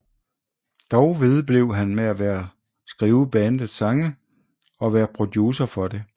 Dog vedblev han med at skrive bandets sange og være producer for det